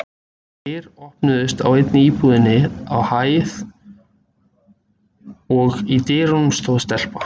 Dyr opnuðust á einni íbúðinni á hæðinni og í dyrunum stóð stelpa.